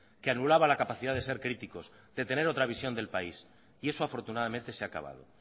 que anulaba la capacidad de ser críticos de tener otra visión del país y eso afortunadamente se ha acabado